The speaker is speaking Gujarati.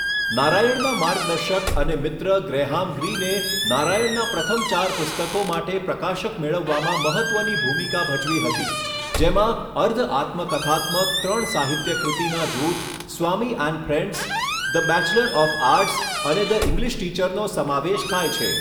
નારાયણના માર્ગદર્શક અને મિત્ર ગ્રેહામ ગ્રીને નારાયણના પ્રથમ ચાર પુસ્તકો માટે પ્રકાશક મેળવવામાં મહત્ત્વની ભૂમિકા ભજવી હતી, જેમાં અર્ધ આત્મકથાત્મક ત્રણ સાહિત્ય કૃતિના જૂથ Swami and friends, the bachelor of arts અને ધ ઇંગ્લિશ ટીચરનો સમાવેશ થાય છે.